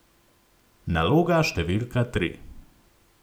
Naloga številka tri.